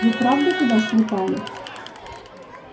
вы правда туда слетали